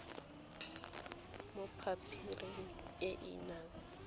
mo pampiring e e nang